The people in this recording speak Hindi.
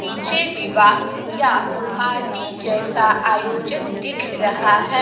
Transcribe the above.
पीछे विवाह या पार्टी जैसा आयोजक दिख रहा है।